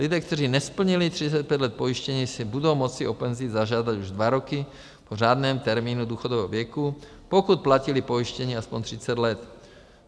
Lidé, kteří nesplnili 35 let pojištění, si budou moci o penzi zažádat už dva roky po řádném termínu důchodového věku, pokud platili pojištění aspoň 30 let.